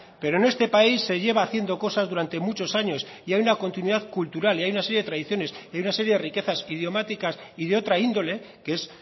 pero en este país se lleva haciendo cosas durante muchos años y hay una continuidad cultural y hay una serie de tradiciones y hay una serie de riquezas idiomáticas y de otro índole que es